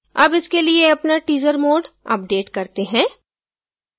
अब इसके लिए अपना teaser mode अपडेट करते हैं